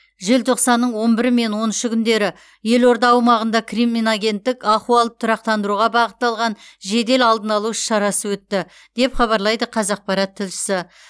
желтоқсанның он бірі мен он үші күндері елорда аумағында криминогендік ахуалды тұрақтандыруға бағытталған жедел алдын алу іс шарасы өтті деп хабарлайды қазақпарат тілшісі